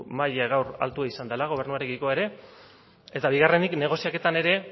maila gaur altua izan dela gobernuarekiko ere eta bigarrenik negoziaketan ere